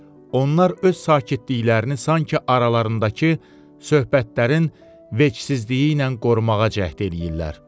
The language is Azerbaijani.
onlar öz sakitliklərini sanki aralarındakı söhbətlərin vecsizliyi ilə qorumağa cəhd eləyirlər.